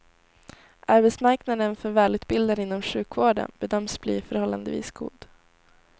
Arbetsmarknaden för välutbildade inom sjukvården bedöms bli förhållandevis god.